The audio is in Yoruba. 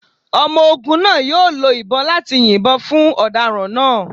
Ọmọ ogun naa yoo lo ibon lati yinbọn fun ọdaràn naa